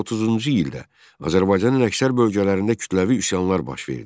1930-cu ildə Azərbaycanın əksər bölgələrində kütləvi üsyanlar baş verdi.